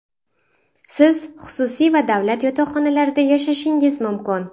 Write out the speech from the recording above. Siz xususiy va davlat yotoqxonalarida yashashingiz mumkin.